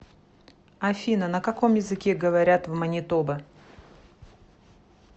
афина на каком языке говорят в манитоба